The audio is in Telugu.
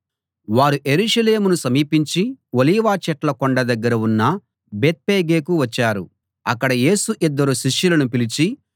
వారు యెరూషలేమును సమీపించి ఒలీవ చెట్ల కొండ దగ్గర ఉన్న బేత్ఫగేకు వచ్చారు అక్కడ యేసు ఇద్దరు శిష్యులను పిలిచి